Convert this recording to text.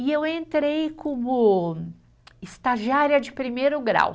E eu entrei como estagiária de primeiro grau.